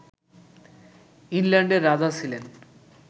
ইংল্যান্ডের রাজা ছিলেন